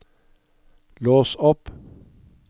lås opp